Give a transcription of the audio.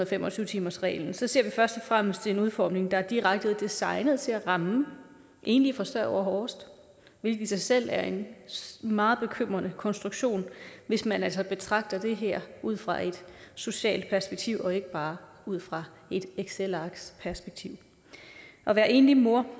fem og tyve timersreglen ser vi først og fremmest en udformning der er direkte designet til at ramme enlige forsørgere hårdest hvilket i sig selv er en meget bekymrende konstruktion hvis man altså betragter det her ud fra et socialt perspektiv og ikke bare ud fra et excelarks perspektiv at være enlig mor